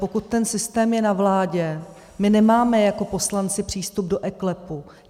Pokud ten systém je na vládě, my nemáme jako poslanci přístup do eKLEPu.